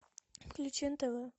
включи нтв